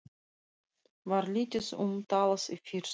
Var lítið um talað í fyrstu.